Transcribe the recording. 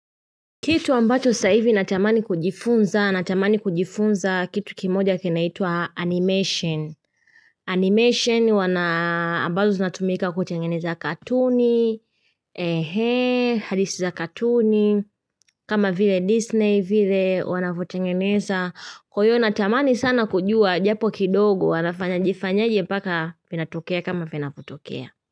Kitu ambacho sa hizi natamani kujifunza, natamani kujifunza kitu kimoja kinaitwa animation. Animation wana, ambazo zinatumika kutengeneza katuni, ehe, hadithi za katuni, kama vile Disney, vile wanavyotengeneza. Kwa hiyo natamani sana kujua, japo kidogo wanafanya jifanyaje mpaka vinatokea kama vinavyotokea.